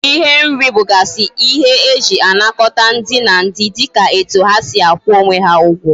Ihe nri bugasi ihe eji anakota ndi na ndi dika etu ha si akwu onwe ha Ugwo